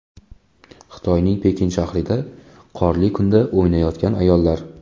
Xitoyning Pekin shahrida qorli kunda o‘ynayotgan ayollar.